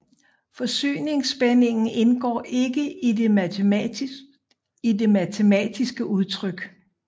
Forsyningsspændingen indgår ikke i de matematiske udtryk